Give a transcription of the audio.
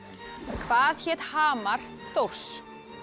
hvað hét hamar Þórs